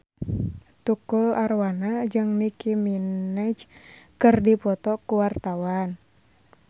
Tukul Arwana jeung Nicky Minaj keur dipoto ku wartawan